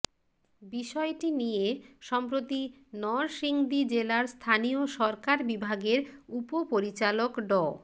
বিষয়টি নিয়ে সম্প্রতি নরসিংদী জেলার স্থানীয় সরকার বিভাগের উপপরিচালক ড